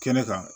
Kɛnɛ kan